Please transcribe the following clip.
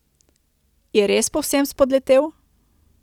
Je res povsem spodletel?